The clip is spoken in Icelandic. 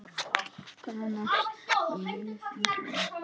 Góða nótt og ljúfa drauma.